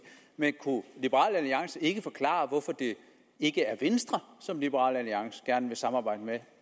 men kunne liberal alliance ikke forklare hvorfor det ikke er venstre som liberal alliance gerne vil samarbejde med